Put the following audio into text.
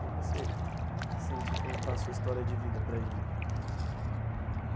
Como você se sentiu em contar a sua história de vida para a gente?